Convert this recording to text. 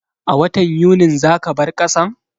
A watan Yunin za ka bar kasan?